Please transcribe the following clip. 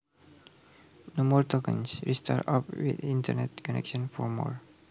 No more tokens. Restart app with internet connection for more.